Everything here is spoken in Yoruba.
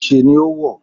Ose ni ó wọ̀.